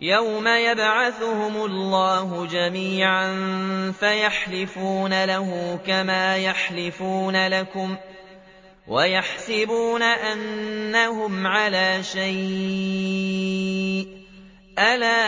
يَوْمَ يَبْعَثُهُمُ اللَّهُ جَمِيعًا فَيَحْلِفُونَ لَهُ كَمَا يَحْلِفُونَ لَكُمْ ۖ وَيَحْسَبُونَ أَنَّهُمْ عَلَىٰ شَيْءٍ ۚ أَلَا